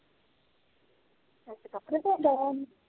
ਕਪੜੇ ਤੋਂਦਾਂ ਆ